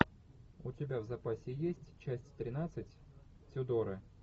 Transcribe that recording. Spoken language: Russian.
у тебя в запасе есть часть тринадцать тюдоры